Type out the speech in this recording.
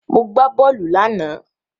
Mo gbà bóòlù lánàá.